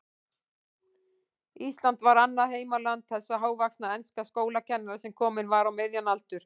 Ísland var annað heimaland þessa hávaxna enska skólakennara, sem kominn var á miðjan aldur.